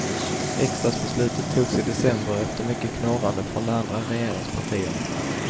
Riksdagsbeslutet togs i december, efter mycket knorrande från de andra regeringspartierna.